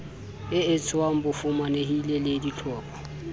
e etsetswang bafumanehi le dihlopha